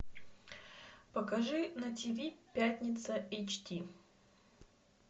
покажи на тв пятница эйч ди